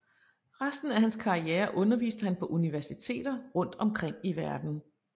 Resten af hans karriere unerviste han på universiteter rundt omkring i verden